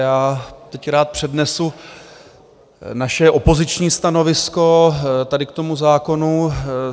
Já teď rád přednesu naše opoziční stanovisko tady k tomu zákonu.